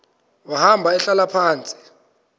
wahamba ehlala phantsi